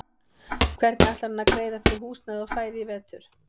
Hvernig ætlar hann að greiða fyrir húsnæði og fæði í vetur?